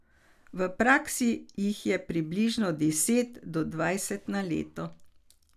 V praksi jih je približno deset do dvajset na leto.